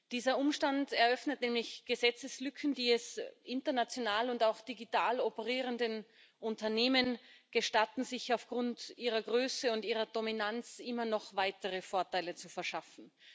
Dieser Umstand eröffnet nämlich Gesetzeslücken, die es international und auch digital operierenden Unternehmen gestatten, sich aufgrund ihrer Größe und ihrer Dominanz immer noch weitere Vorteile zu verschaffen.